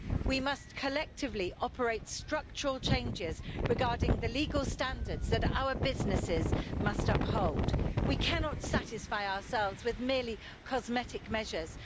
We must collectively operate structural changes regarding the legal standards that our businesses must uphold. We cannot satisfy ourselves with merely cosmetic measures.